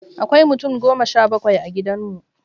Akwai mutum goma sha bakwai a gidan mu.